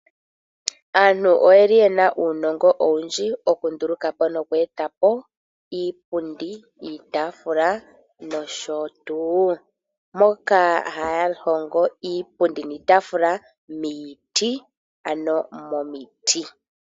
Aantu oyeli yena uunongo owundji oku ndulukapo noku etapo iipundi, iitafula noshotu. Moka haya hongo iipundi niitafula miiti, ano momiti.